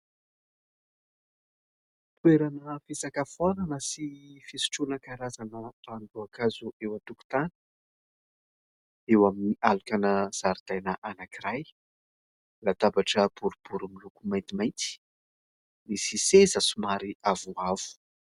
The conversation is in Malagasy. Toerana fisakafaonana sy fisotroana karazana ranom-boankazo eo an-tokontany. Eo amin'ny alokana zaridaina anankiray, latabatra boribory miloko maintimaity nisy seza somary avoavo.